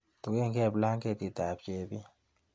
Tuchekee blanketitab chepin.